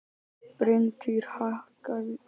Bryntýr, hækkaðu í hátalaranum.